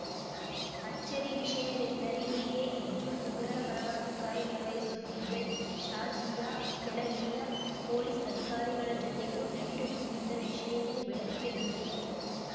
ಅಚ್ಚರಿ ವಿಷಯವೆಂದರೆ ಹೀಗೆ ಹಿಜ್ಜುಲ್‌ ಉಗ್ರರ ಪರವಾಗಿ ಕಾರ್ಯನಿರ್ವಹಿಸುತ್ತಿದ್ದ ಶಾಜಿಯಾ ಕೆಲ ಹಿರಿಯ ಪೊಲೀಸ್‌ ಅಧಿಕಾರಿಗಳ ಜೊತೆಗೂ ನಂಟು ಹೊಂದಿದ್ದ ವಿಷಯವೂ ಬೆಳಕಿಗೆ ಬಂದಿದೆ